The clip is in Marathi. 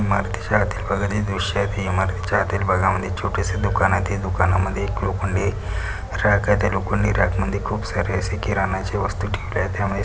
इमारतीच्या आतील भागतील दृश्य आहे इमारतीच्या आतील भागमध्ये एक छोटसं दुकान आहे ते दुखनामधी एक लोखंडी रॅक आहे त्या लोखंडी रॅक मधी खूप सारे असे किरणाच्या वस्तु ठेवल्या आहे त्यामध्ये --